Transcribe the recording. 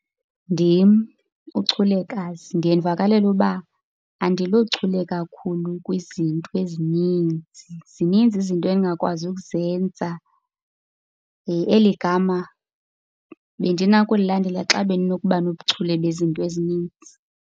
Ndim uChulekazi, ndiye ndivakalelwe uba andilochule kakhulu kwizinto ezininzi. Zininzi izinto endingakwazi ukuzenza. Eli gama bendinokulilandela xa bendinokuba nobuchule bezinto ezininzi.